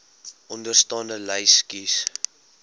onderstaande lys kies